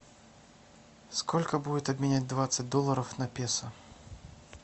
сколько будет обменять двадцать долларов на песо